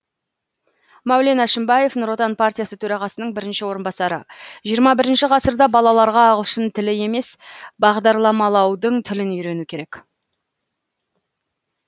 мәулен әшімбаев нұр отан партиясы төрағасының бірінші орынбасары жиырма бірінші ғасырда балаларға ағылшын тілі емес бағдарламалаудың тілін үйрену керек